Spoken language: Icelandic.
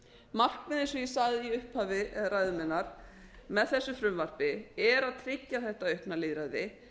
markmiðið eins og ég sagði í upphafi ræðu minnar með þessu lagafrumvarpi er að tryggja þetta aukna lýðræði